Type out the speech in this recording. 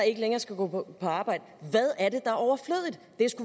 ikke længere skal gå på arbejde